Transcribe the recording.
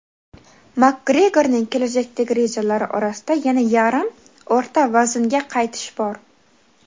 Makgregorning kelajakdagi rejalari orasida yana yarim o‘rta vaznga qaytish bor.